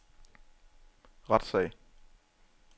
retssag